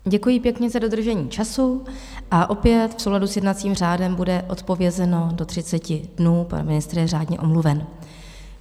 Děkuji pěkně za dodržení času a opět v souladu s jednacím řádem bude odpovězeno do 30 dnů, pan ministr je řádně omluven.